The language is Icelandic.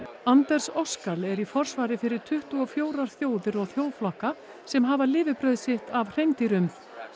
Anders Oskal er í forsvari fyrir tuttugu og fjórar þjóðir og þjóðflokka sem hafa lifibrauð sitt af hreindýrum